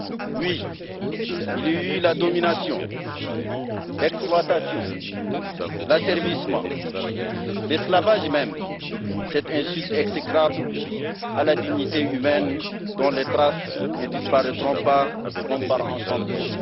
Oui, il y eut la domination, l'exploitation, l'asservissement, l'esclavage même, cette insulte exécrable à la dignité humaine dont les traces ne disparaîtront pas comme par enchantement.